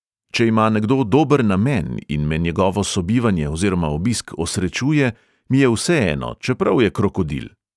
"Če ima nekdo dober namen in me njegovo sobivanje oziroma obisk osrečuje, mi je vseeno, čeprav je krokodil."